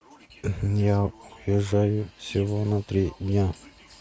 я уезжаю всего на три дня